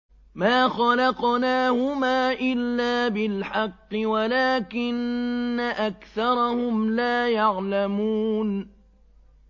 مَا خَلَقْنَاهُمَا إِلَّا بِالْحَقِّ وَلَٰكِنَّ أَكْثَرَهُمْ لَا يَعْلَمُونَ